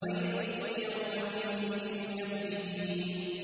وَيْلٌ يَوْمَئِذٍ لِّلْمُكَذِّبِينَ